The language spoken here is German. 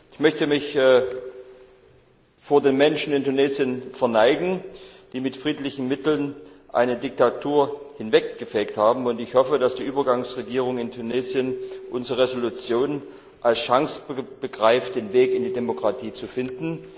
Ich möchte mich vor den Menschen in Tunesien verneigen, die mit friedlichen Mitteln eine Diktatur hinweggefegt haben, und ich hoffe, dass die Übergangsregierung in Tunesien unsere Entschließung als Chance begreift, den Weg in die Demokratie zu finden.